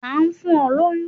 ta n fún o loyún?